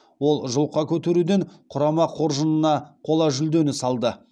ол жұлқа көтеруден құрама қоржынына қола жүлдені салды